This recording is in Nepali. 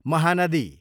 महानदी